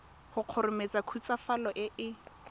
go kgomaretsa khutswafatso e e